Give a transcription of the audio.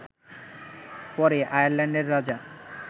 পরে আয়ারল্যান্ডের রাজা